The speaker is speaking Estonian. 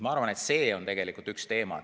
Ma arvan, et see on tegelikult üks teema.